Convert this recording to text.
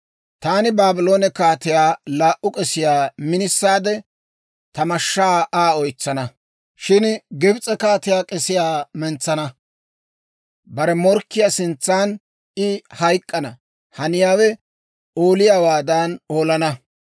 « ‹Taani Baabloone kaatiyaa laa"u k'esiyaa minisaade, ta mashshaa Aa oytsana. Shin Gibs'e kaatiyaa k'esiyaa mentsana; bare morkkiyaa sintsan I hayk'k'ana haniyaawe ooliyaawaadan olana.